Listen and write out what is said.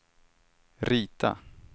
rita